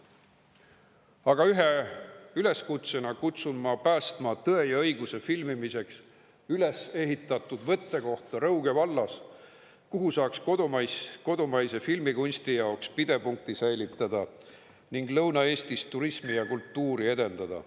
Aga ma teen ühe üleskutse, kutsun päästma "Tõe ja õiguse" filmimiseks ülesehitatud võttekohta Rõuge vallas, kuhu saaks kodumaise filmikunsti jaoks pidepunkti säilitada ning Lõuna-Eestis turismi ja kultuuri edendada.